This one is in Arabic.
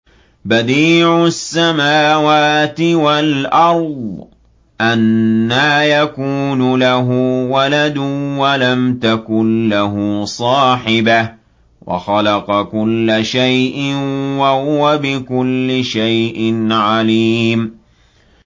بَدِيعُ السَّمَاوَاتِ وَالْأَرْضِ ۖ أَنَّىٰ يَكُونُ لَهُ وَلَدٌ وَلَمْ تَكُن لَّهُ صَاحِبَةٌ ۖ وَخَلَقَ كُلَّ شَيْءٍ ۖ وَهُوَ بِكُلِّ شَيْءٍ عَلِيمٌ